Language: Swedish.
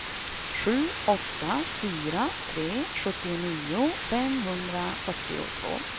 sju åtta fyra tre sjuttionio femhundrafyrtiotvå